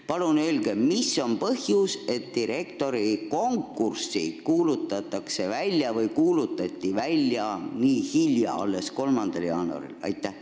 Palun öelge, mis on põhjus, et see direktorikonkurss kuulutati välja nii hilja, alles 3. jaanuaril!